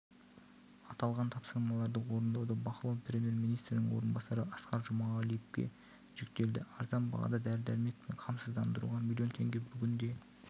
аталған тапсырмаларды орындауды бақылау премьер-министрдің орынбасары асқар жұмағалиевке жүктелді арзан бағада дәрі-дәрмекпен қамсыздандыруға миллион теңге бүгінде